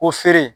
Ko feere